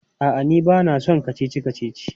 A'a, ni ba na son kacici-kacici.